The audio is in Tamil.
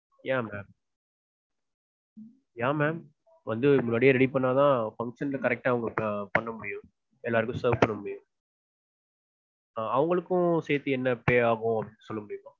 yeah ma'am. வந்து முன்னாடியே ready பண்ணாதா function க்கு correct ட்டா பண்ண முடியும். எல்லாருக்கும் serve பண்ண முடியும். ஆஹ் அவங்களுக்கும் சேத்து என்ன pay ஆகும்னு சொல்ல முடியுமா?